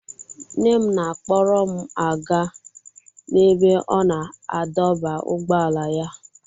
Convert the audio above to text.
Nne m na-akpọrọ m aga n'ebe ọ na-adọba ụgbọala ya.